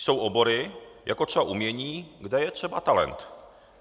Jsou obory, jako třeba umění, kde je třeba talent.